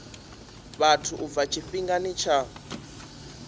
vhathu u bva tshifhingani tsha